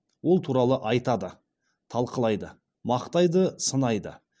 ол туралы айтады талқылайды мақтайды сынайды